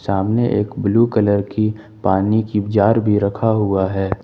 सामने एक blue colour की पानी की जार भी रखा हुआ है।